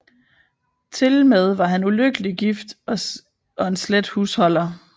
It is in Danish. Tilmed var han ulykkelig gift og en slet husholder